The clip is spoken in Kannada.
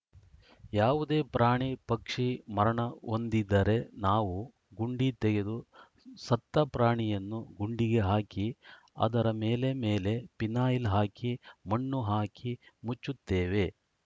ಯಾವುದೇ ಪ್ರಾಣಿ ಪಕ್ಷಿ ಮರಣಹೊಂದಿದರೆ ನಾವು ಗುಂಡಿ ತೆಗೆದು ಸತ್ತ ಪ್ರಾಣಿಯನ್ನು ಗುಂಡಿಗೆ ಹಾಕಿ ಅದರ ಮೇಲೆ ಮೇಲೆ ಪಿನಾಯಲ್‌ ಹಾಕಿ ಮಣ್ಣು ಹಾಕಿ ಮುಚ್ಚುತ್ತೇವೆ